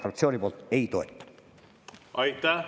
Aitäh!